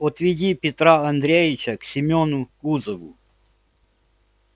отведи петра андреича к семёну кузову